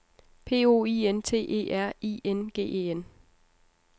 P O I N T E R I N G E N